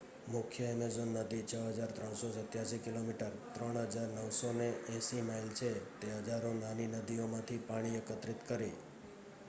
મુખ્ય એમેઝોન નદી 6,387 કિમી 3,980 માઇલ છે. તે હજારો નાની નદીઓમાંથી પાણી એકત્રિત કરે